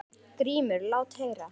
GRÍMUR: Lát heyra!